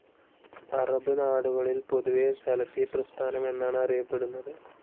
Arab നാടുകളിൽ പൊതുവെ സലഫി പ്രസ്ഥാനം എന്നാണ് അറിയപ്പെടുന്നത്.